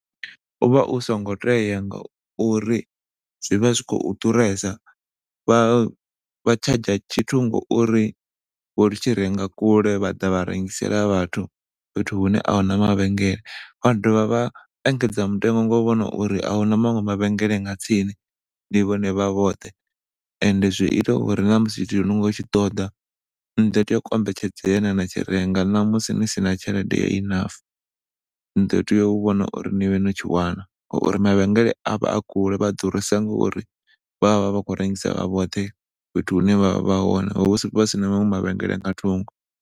U vha u songo tea ngauri zwi vha zwi khou ḓuresa vha charger tshithu ngauri vho tshi renga kule vha ḓa vha rengisela vhathu fhethu hune ahuna mavhengele. Vha do vha vha engedza mutengo nga u vhona uri ahuna maṅwe mavhengeleni nga tsini ndi vhone vha vhoṱhe ende zwi ita uri na musi tshithu ni khou tshi ṱoḓa ni ḓo tea u kombetshedzea na ya na tshi renga na musi ni sina tshelede ya enough ni ḓo tea u vhona uri ni vhe no tshi wana ngauri mavhengeleni a vha a kule. Vha ḓurisa ngauri vhavha vha khou rengisa vha vhoṱhe fhethu hune vhavha vha hone hu vha hu sina maṅwe mavhengeleni nga thungo.